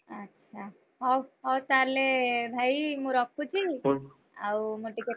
ଆ ଚ୍ଛା ହଉ ହଉ ତାହେଲେ ଭାଇ ମୁଁ ରଖୁଛି।